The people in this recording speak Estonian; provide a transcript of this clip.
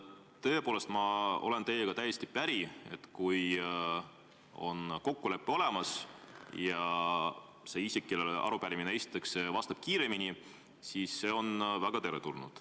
Tõepoolest, ma olen teiega täiesti päri, et kui kokkulepe on olemas ja see isik, kellele arupärimine esitatakse, vastab kiiremini, siis on see väga teretulnud.